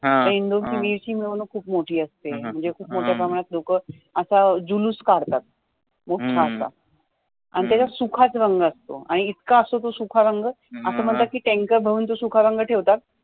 इंदौर ची वीर ची मिरवणूक खूप मोठी असते, म्हणजे खूप मोठ्या प्रमाणात लोकं असा जुलुस काढतात मोठा असा अन त्याच्यात सूखाच रंग असतो इतका असतो तो सूखा रंग असं म्हणतात की tanker भरून तो सूखा रंग ठेवतात